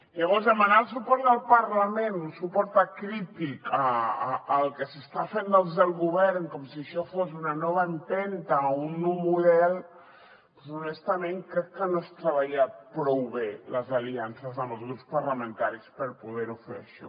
llavors demanar el suport del parlament un suport acrític al que s’està fent des del govern com si això fos una nova empenta a un nou model doncs honestament crec que no és treballar prou bé les aliances amb els grups parlamentaris per poder ho fer això